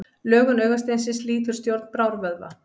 Lögun augasteinsins lýtur stjórn brárvöðva.